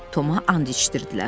Toma and içdirdilər.